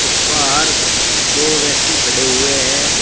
बाहर दो व्यक्ति खड़े हुए हैं।